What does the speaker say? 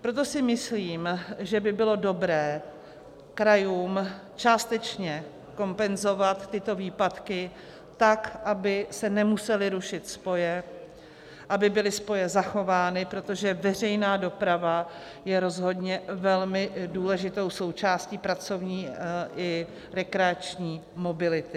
Proto si myslím, že by bylo dobré krajům částečně kompenzovat tyto výpadky tak, aby se nemusely rušit spoje, aby byly spoje zachovány, protože veřejná doprava je rozhodně velmi důležitou součástí pracovní i rekreační mobility.